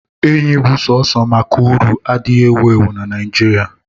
Enyi bụ sọsọ maka uru adịghị ewu ewu na Naijiria.